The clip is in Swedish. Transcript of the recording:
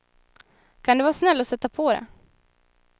Kan du vara snäll och sätta på det.